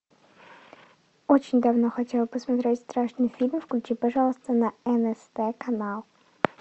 очень давно хотела посмотреть страшный фильм включи пожалуйста на нст канал